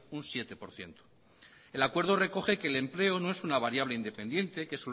un siete por ciento el acuerdo recoge que el empleo no es una variable independiente que